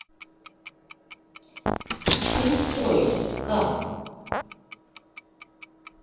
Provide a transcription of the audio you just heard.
перестрой ка